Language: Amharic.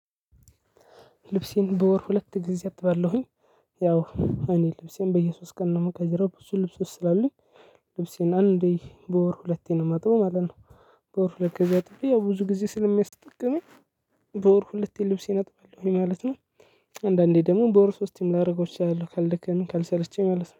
ልብሴን በወር ሁለት ጊዜ አጥባለሁኝ። ያው እኔ ልብሴን በየሶስት ቀን ነው የምቀይረው ብዙ ልብሶች ስላሉኝ። ልብሴን አንዴ በወር ሁለቴን ማጥበው ማለት ነው። በወር ሁለት ጊዜ አጥቤ ያው ብዙ ጊዜ ስለሚያስጠቅመኝ። በወር ሁለቴ ልብሴ አጠብኩኝ ማለት ነው። አንዳንዴ ደግሞ በወር ሶስቴም ላደርገው እችላለሁ ካልደከመኝ ካልሰለችኝ ማለት ነው